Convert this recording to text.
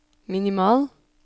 minimal